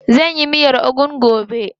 Zan yi miyar ugu gobe.